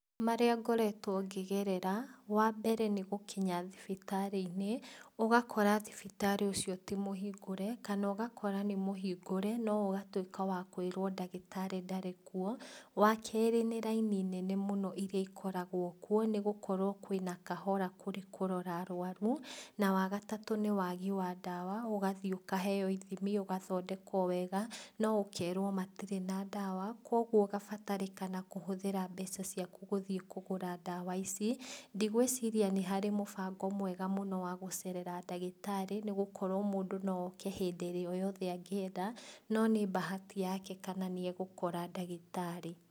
Marĩa ngoretwo ngĩgerera, wambere nĩ gũkinya thibitarĩ - inĩ ũgakora thibitarĩ ũcio ti mũhingũre, kana ũgakora nĩ mũhingũre no ũgatwĩka wakwĩrũo ndagĩtarĩ ndarĩ kuo, wakerĩ nĩ raini nene mũno iria ikoragwo kuo, nĩ gũkorwo kwĩna kahora kũrĩ kũrora arwaru, na wa gatatũ nĩ wagi wa ndawa, ũgathiĩ ukaheo ithimi, ũgathondekwo wega, no ũkerwo matirĩ na ndawa, kwoguo ũgabatarĩkana kũhũthĩra mbeca ciaku gũthiĩ kũgũra ndawa ici, ndigwĩciria nĩ harĩ mũbango mwega mũno wa gũcerera ndagĩtarĩ, nĩ gũkorwo mũndũ no oke hĩndĩ o ĩrĩa yothe angĩenda no nĩ bahati yake kana nĩ egũkora ndagĩtarĩ.